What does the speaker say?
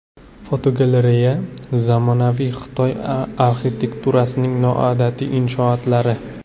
Fotogalereya: Zamonaviy Xitoy arxitekturasining noodatiy inshootlari.